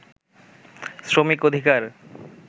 শ্রমিক অধিকার